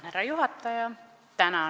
Härra juhataja!